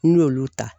N'i y'olu ta